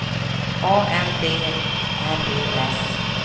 A N D R E S